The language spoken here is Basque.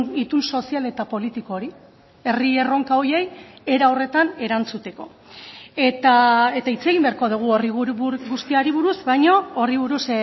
itun sozial eta politiko hori herri erronka horiei era horretan erantzuteko eta hitz egin beharko dugu horri guztiari buruz baino horri buruz